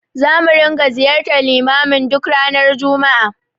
Zamu ringa ziyartar limamin duk ranar juma'a.